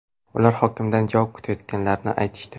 Ular hokimdan javob kutayotganliklarini aytishdi.